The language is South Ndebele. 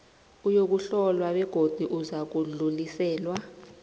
uyokuhlolwa begodu uzakudluliselwa